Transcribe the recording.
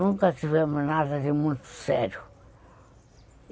Nunca tivemos nada de muito sério.